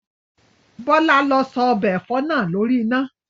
Bọ́lá lọ sọ ọbẹ̀ ẹ̀fọ́ náà lórí iná!